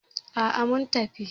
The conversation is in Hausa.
Aa, sun tafi